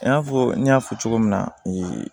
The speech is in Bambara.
I n'a fɔ n y'a fɔ cogo min na